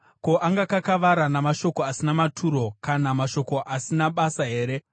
Ko, angakakavara namashoko asina maturo, kana namashoko asina basa here?